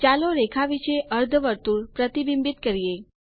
ચાલો રેખા વિશે અર્ધવર્તુળ પ્રતિબિંબિત કરીએ